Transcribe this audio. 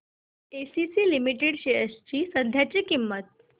ACC limited shares ची सध्याची किंमत